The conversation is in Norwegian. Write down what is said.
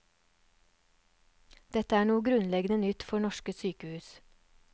Dette er noe grunnleggende nytt for norske sykehus.